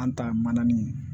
An ta ye mananin ye